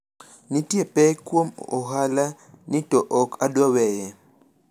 nitie pek kuom ohala ni to ok adwa weye